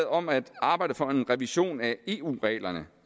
om at arbejde for en revision af eu reglerne